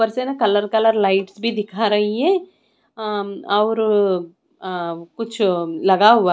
ऊपर से ना कलर कलर लाइट्स भी दिखा रही है अ और अ कुछ लगा हुआ--